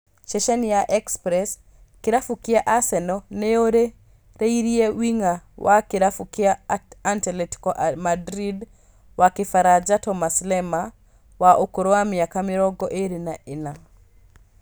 Ceceni ya Express, kĩrabu kĩa Arsenal nĩyũrĩrĩirie wing'a wa kĩrabu kĩa Antletico Madrid wa kĩfaranja Thomas Lemar wa ũkũrũ wa mĩaka mĩrongo ĩrĩ na ĩna